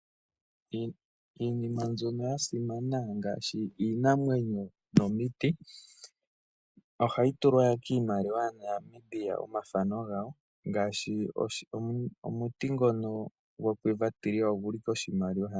Iinima mbyono ya simana ngaashi iinamwenyo nomiti ohayi tulwa kiimaliwa ya Namibia omathano gayo ngaashi omuti ngono go Quiver ogulu koshimaliwa .